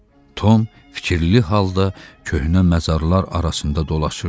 Tom fikirli halda köhnə məzarlar arasında dolaşırdı.